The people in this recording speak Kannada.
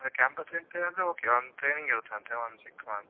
Campus interview ಆದ್ರೆ okay ಒಂದ್ training ಇರ್ತದೆ ಅಂತೆ, ಒಂದು six month .